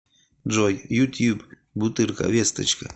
джой ютьюб бутырка весточка